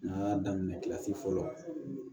N'an y'a daminɛ fɔlɔ